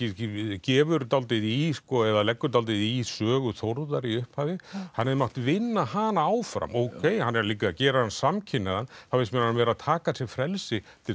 gefur dálítið í eða leggur dálítið í sögu Þórðar í upphafi hann hefði mátt vinna hana áfram ókei hann er líka að gera hann samkynhneigðan þá finnst mér hann vera að taka sér frelsi til